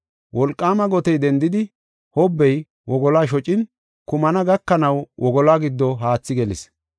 Wolqaama gotey dendidi, hobbey wogoluwa shocin, kumana gakanaw wogoluwa giddo haathi gelis.